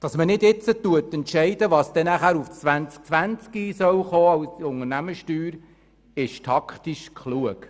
Dass man nicht jetzt entscheidet, was im Jahr 2020 an Unternehmenssteuer kommen soll, ist taktisch klug.